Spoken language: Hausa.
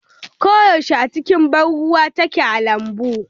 Ko yaushe a cikin ban ruwa take a lambun.